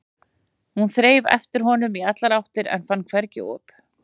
Hún þreifaði eftir honum í allar áttir en fann hvergi op.